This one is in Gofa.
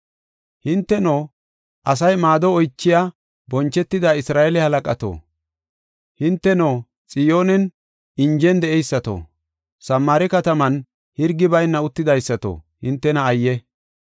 Hinteno, asay maado oychiya bonchetida Isra7eele halaqato, hinteno, Xiyoonen injen de7eysato, Samaare kataman hirgi bayna uttidaysato, hintena ayye!